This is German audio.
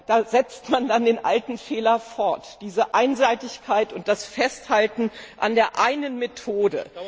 Da setzt man dann den alten Fehler fort diese Einseitigkeit und das Festhalten an der einen Methode.